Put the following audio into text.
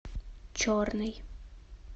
черный